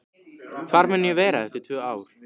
Hvar mun ég vera eftir tvö ár?